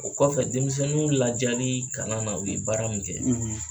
O kɔfɛ denmisɛnninw lajalii kalan na u ye baara min kɛ